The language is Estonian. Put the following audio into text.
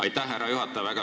Aitäh, härra juhataja!